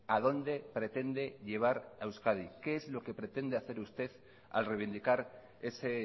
adónde pretende llevar a euskadi qué es lo que pretende hacer usted al reivindicar ese